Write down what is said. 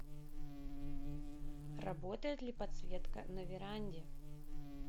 работает ли подсветка на веранде